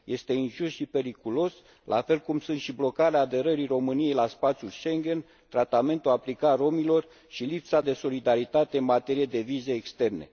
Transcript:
Este injust și periculos, la fel cum sunt și blocarea aderării României la spațiul Schengen, tratamentul aplicat romilor și lipsa de solidaritate în materie de vize externe.